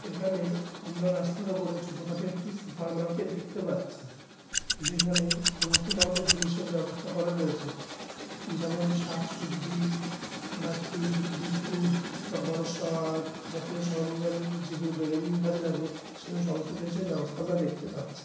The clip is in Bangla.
এখানে আমরা রাস্তার ওপরে ছোট-খাটো একটি সুপার মার্কেট দেখতে পাচ্ছি। যেখানে সমস্ত ধরণের জিনসের ব্যবস্থা করা রয়েছে। যেমন- শাক-সবজি বা চিপস বিস্কুট বা জাতীয় সরঞ্জাম যেগুলো দৈনন্দিন কাজে লাগে সেই অনুযায়ী সমস্ত জিনিসের ব্যবস্থা আমরা দেখতে পাচ্ছি। ।